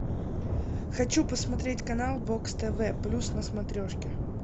хочу посмотреть канал бокс тв плюс на смотрешке